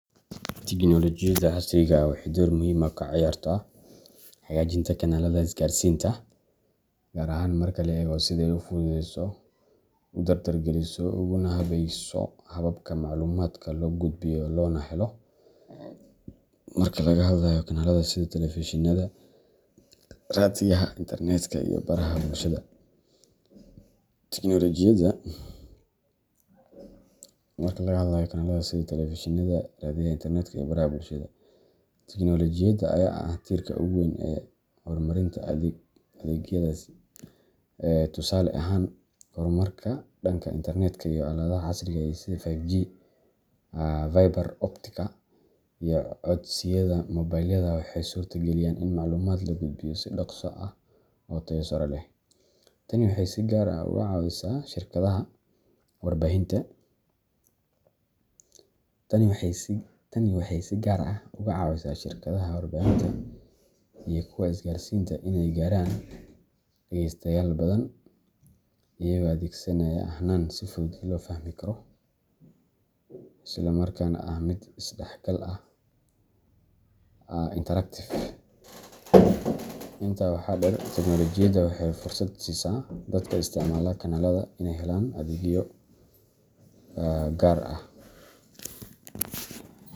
Tignolojiyada casriga ah waxay door muhiim ah ka cayaartaa hagaajinta kanaalada isgaarsiinta, gaar ahaan marka la eego sida ay u fududeyso, u dardar geliso, uguna habayso habka macluumaadka loo gudbiyo loona helo. Marka laga hadlayo kanaalada sida telefishinada, raadiyaha, internetka, iyo baraha bulshada, tignolojiyada ayaa ah tiirka ugu weyn ee hormarinta adeegyadaasi. Tusaale ahaan, horumarka dhanka internetka iyo aaladaha casriga ah sida 5G, fiber optic-ka, iyo codsiyada mobilada waxay suurto galiyaan in macluumaad la gudbiyo si dhakhso ah oo tayo sare leh. Tani waxay si gaar ah uga caawisaa shirkadaha warbaahinta iyo kuwa isgaarsiinta inay gaaraan dhagaystayaal badan, iyagoo adeegsanaya hannaan si fudud loo fahmi karo, isla markaana ah mid isdhexgal ah interactive. Intaa waxaa dheer, tignolojiyadu waxay fursad u siisaa dadka isticmaala kanaalada inay helaan adeegyo gaar ah